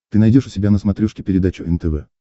ты найдешь у себя на смотрешке передачу нтв